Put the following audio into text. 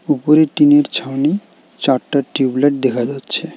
উপরে টিন -এর ছাউনি চারটা টিউব লাইট দেখা যাচ্ছে।